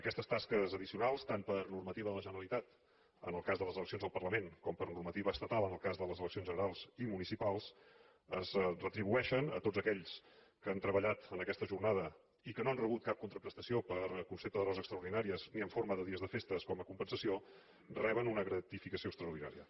aquestes tasques addicionals tant per normativa de la generalitat en el cas de les eleccions al parlament com per normativa estatal en el cas de les eleccions estatals i municipals es retribueixen a tots aquells que han treballat en aquesta jornada i que no han rebut cap contraprestació per concepte d’hores extraordinàries ni en forma de dies de festa com a compensació reben una gratificació extraordinària